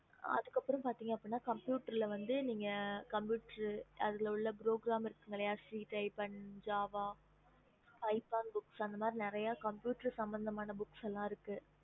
okey mam yes mam